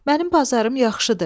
Mənim bazarım yaxşıdır.